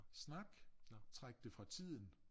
Snak træk det fra tiden